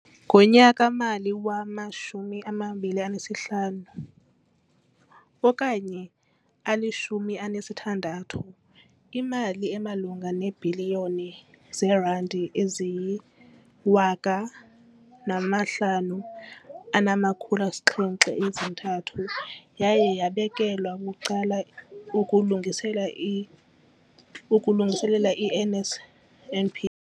Ngonyaka-mali wama-2015, 16, imali emalunga neebhiliyoni zeerandi eziyi-5 703 yaye yabekelwa bucala ukulungisela ukulungiselela i-NSNP.